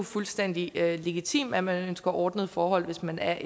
fuldstændig legitimt at man ønsker ordnede forhold hvis man er